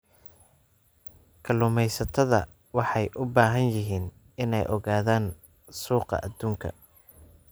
Kalluumeysatada waxay u baahan yihiin inay ogaadaan suuqa adduunka.